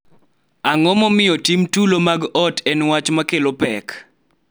Ang�o momiyo tim tulo mag ot en wach ma kelo pek?